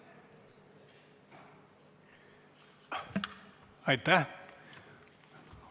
Aitäh!